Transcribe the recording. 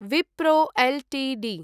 Wipro Ltd